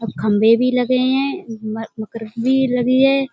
अब खम्बे भी लगे हैं मक भी लगी है।